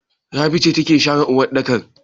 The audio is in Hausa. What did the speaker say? Rabi ce take share waɗɗakan?